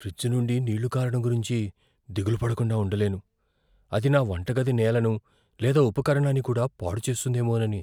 Fridge నుండి నీళ్ళు కారడం గురించి దిగులు పడకుండా ఉండలేను, అది నా వంటగది నేలను లేదా ఉపకరణాన్ని కూడా పాడు చేస్తుందేమోనని?